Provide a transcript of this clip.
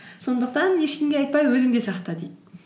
сондықтан ешкімге айтпай өзіңде сақта дейді